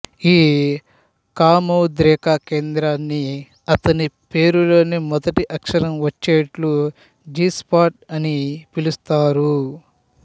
ఈ కామోద్రేక కేంద్రాన్ని అతని పేరులోని మొదటి అక్షరం వచ్చేట్టు జి స్పాట్ అని పిలుస్తారు